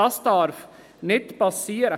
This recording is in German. Das darf nicht geschehen.